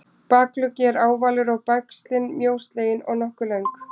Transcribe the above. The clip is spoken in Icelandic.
bakugginn er ávalur og bægslin mjóslegin og nokkuð löng